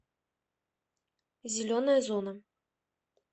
зеленая зона